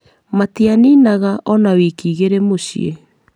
Matianinaga ona wiki igĩrĩ mũciĩ,